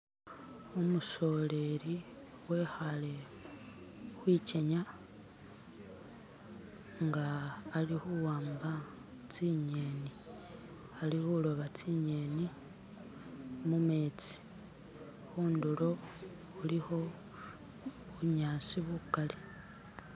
Umusololi wekaale kwigenya nga alikuwamba zinyeni. Alikuloba zinyeni mumenzi, kuntulo kuliko bunyaasi bugaali.